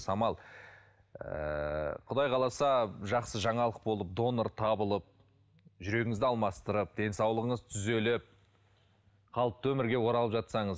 самал ыыы құдай қаласа жақсы жаңалық болып донор табылып жүрегіңізді алмастырып денсаулығыңыз түзеліп қалыпты өмірге оралып жатсаңыз